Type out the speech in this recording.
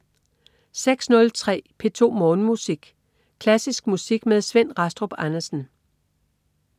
06.03 P2 Morgenmusik. Klassisk musik med Svend Rastrup Andersen